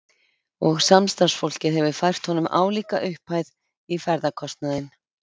Og samstarfsfólkið hefur fært honum álíka upphæð í ferðakostnaðinn.